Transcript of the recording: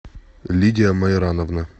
лидия майрановна